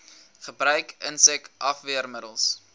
gebruik insek afweermiddels